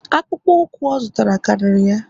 akpụkpọ ụkwụ ọ zụtara kariri ya